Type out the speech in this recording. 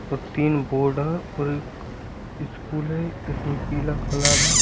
और तीन बोर्ड हैं और एक स्कूल है इसमें पीला कलर है।